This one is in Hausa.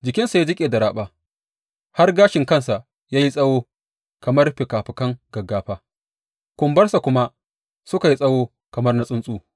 Jikinsa ya jiƙe da raɓa, har gashinsa ya yi tsawo kamar fikafikan gaggafa, kumbarsa kuma suka yi tsawo kamar na tsuntsu.